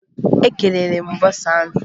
Ekelere m bọsa ahụ